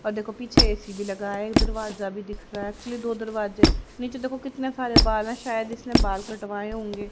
और देखो पीछे ए_सी भी लगा है दरवाजा भी दिख रहा है एक्चुअली दो दरवाजे नीचे देखो कितनें सारे बाल है शायद इसने बाल कटवाए होंगे।